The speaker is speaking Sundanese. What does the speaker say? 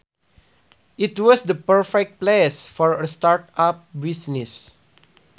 It was the perfect place for a start up business